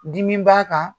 Dimi b'a kan